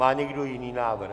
Má někdo jiný návrh?